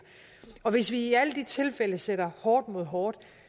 hvis vi i alle de tilfælde sætter hårdt mod hårdt